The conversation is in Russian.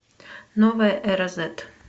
новая эра зет